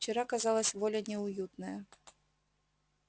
вчера казалось воля неуютная